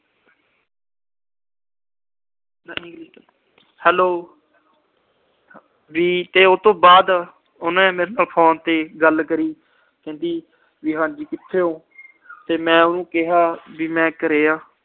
hello ਵੀ ਉਹਤੋਂ ਬਾਅਦ ਉਹਨੇ phone ਤੇ ਮੇਰੇ ਨਾਲ ਗੱਲ ਕਰੀ ਵੀ ਕਹਿੰਦੀ ਹਾਂਜੀ ਕਿੱਥੇ ਓ ਤੇ ਮੈਂ ਉਹਨੂੰ ਕਿਹਾ ਵੀ ਮੈਂ ਘਰੇ ਆ।